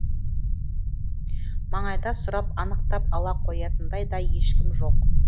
маңайда сұрап анықтап ала қоятындай да ешкім жоқ